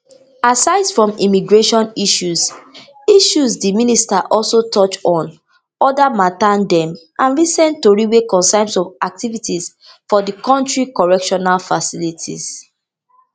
asides from immigration issues issues di minister also touch on oda mata dem and recent tori wey concern some activities for di kontri correctional facilities